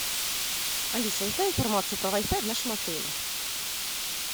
алиса узнай информацию про вай фай в нашем отеле